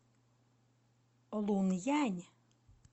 лунъянь